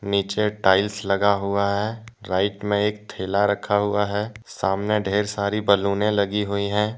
नीचे एक टाइल्स लगा हुआ है राईट में एक थैला रखा हुआ है सामने धेर सारी बैलूने लगी हुई हैं।